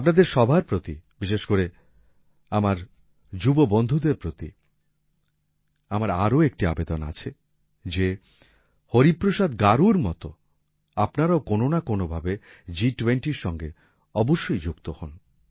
আপনাদের সবার প্রতি বিশেষ করে আমার যুব বন্ধুদের প্রতি আমার আরো একটি আবেদন যে হরিপ্রসাদ গারুর মত আপনারাও কোন না কোন ভাবে G20 র সঙ্গে অবশ্যই যুক্ত হোন